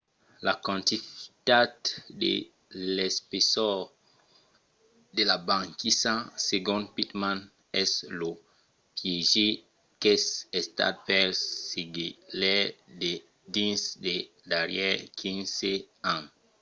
la quantitat e l'espessor de la banquisa segon pittman es lo piéger qu'es estat pels sagelaires dins los darrièrs 15 ans